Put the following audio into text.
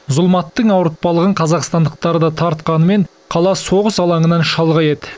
зұлматтың ауыртпалығын қазақстандықтар да тартқанымен қала соғыс алаңынан шалғай еді